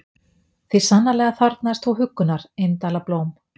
Því sannarlega þarfnaðist þú huggunar, indæla blóm.